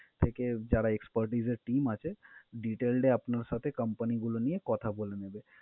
থেকে যারা expertise এর team আছে details টাই আপনার সাথে company গুলো নিয়ে কথা বলে নেবে।